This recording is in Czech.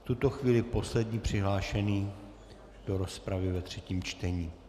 V tuto chvíli poslední přihlášený do rozpravy ve třetím čtení.